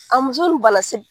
A muso nun banna .